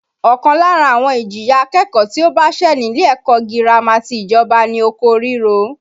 Ọ̀kan lára àwọn ìjìyà akẹ́kọ̀ọ́ tí ó bá ṣẹ̀ nílé ẹ̀kọ́ girama ti ìjọba ni oko ríro